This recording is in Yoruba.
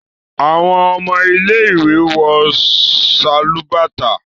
awọn ọmọ ile-iwe wọ Sálúbàtà